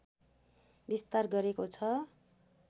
विस्तार गरेको छ